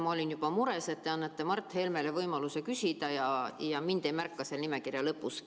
Ma olin juba mures, et te annate Mart Helmele võimaluse küsida ja mind ei märkagi seal nimekirja lõpus.